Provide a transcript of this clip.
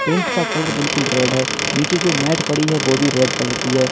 Tent का colour बिल्कुल red है नीचे जो मैट पड़ी है वो भी रेड कलर की है।